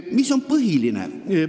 Mis on põhiline?